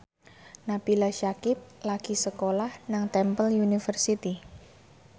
Nabila Syakieb lagi sekolah nang Temple University